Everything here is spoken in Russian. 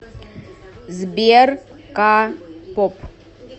сбер ка поп